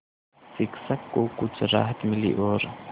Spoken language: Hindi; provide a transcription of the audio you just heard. शिक्षक को कुछ राहत मिली और